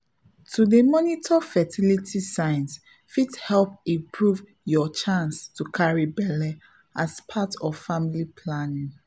to dey monitor fertility signs fit help improve your chance to carry belle as part of family planning.